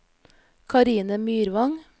Karine Myrvang